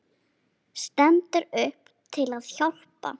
Stendur upp til að hjálpa.